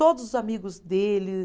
Todos os amigos dele.